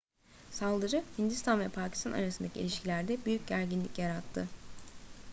saldırı hindistan ve pakistan arasındaki ilişkilerde büyük gerginlik yarattı